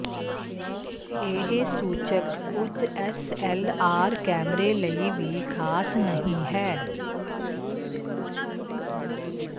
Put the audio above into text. ਇਹ ਸੂਚਕ ਕੁਝ ਐਸਐਲਆਰ ਕੈਮਰੇ ਲਈ ਵੀ ਖਾਸ ਨਹੀਂ ਹੈ